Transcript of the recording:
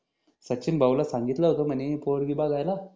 सचिन भाऊ ला सांगितल होत म्हणे पोरगी बगायला